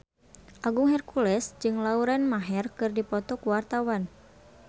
Agung Hercules jeung Lauren Maher keur dipoto ku wartawan